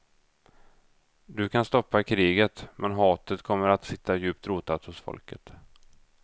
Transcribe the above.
Du kan stoppa kriget, men hatet kommer att sitta djupt rotat hos folket.